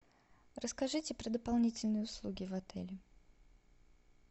расскажите про дополнительные услуги в отеле